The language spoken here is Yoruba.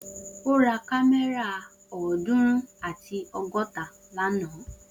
O ra kámẹ́rà ọdunrun ati ọgọta lana